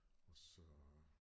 Og så